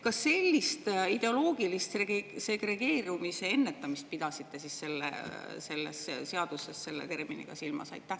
Kas eelnõus sellist ideoloogilise segregeerimise ennetamist?